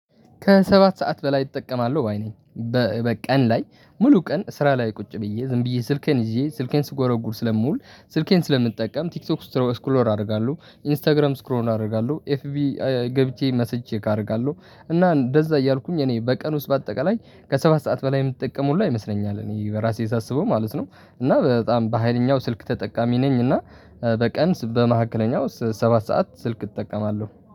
ከሰባት ሰዓት በላይ እጠቀማለሁ ባይ ነኝ። በቀን ላይ ሙሉ ቀን ስራ ላይ ቁጭ ብዬ ዝም ብዬ ስልኬን ይዤ ስልኬን ስጎረጉር ስለምውል ስልኬን ስለምጠቀም ቲክቶክ ስትሮስክ ሮል አደርጋለሁ ኢንስታግራም ስክ ሮል አደርጋለሁ ኤፍቢ ገብቼ ሜሴጅ ቼክ አደርጋለሁ እና እንደዛ እያልኩኝ እኔ በቀን ውስጥ በአጠቃላይ ከሰባት ሰዓት በላይ የምጠቀም ሁላ ይመስለኛል እኔ በራሴ ሳስበው ማለት ነው። እና በጣም በሃይለኛው ስልክ ተጠቃሚ ነኝ እና። በቀን ስ በመካከለኛው ሰባት ሰዓት ስልክ እጠቀማለሁ